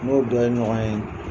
N n'o dɔ ye ɲɔgɔn ye.